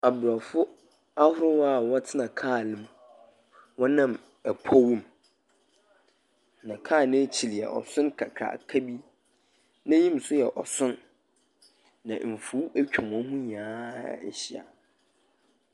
Abrɔfo ahorow a wɔtena kar mu wɔnam powmu. Na car n'ekyir ɔson kakraka bi. N'enyim nso yɛ ɔson. Na mfuw atwa wɔn ho nyinaa ahyia.